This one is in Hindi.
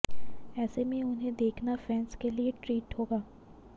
ऐसे में उन्हें देखना फैन्स के लिए ट्रीट होगा